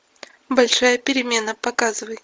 большая перемена показывай